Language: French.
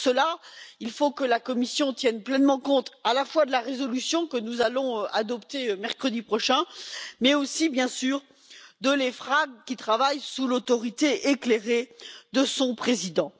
Pour cela, il faut que la Commission tienne pleinement compte à la fois de la résolution que nous allons adopter mercredi prochain mais aussi, bien sûr, de l'EFRAG, qui travaille sous l'autorité éclairée de son président.